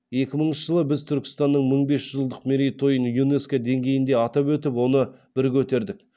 екі мыңыншы жылы біз түркістанның мың бес жүз жылдық мерейтойын юнеско деңгейінде атап өтіп оны бір көтердік